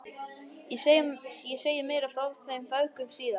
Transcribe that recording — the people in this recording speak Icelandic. Ég segi meira frá þeim feðgum síðar.